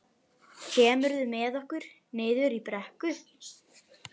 Kemurðu með okkur niður í brekku?